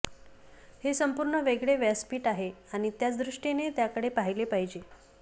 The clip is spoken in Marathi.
हे संपूर्ण वेगळे व्यासपीठ आहे आणि त्याच दृष्टीने त्याकडे पाहिले पाहिजे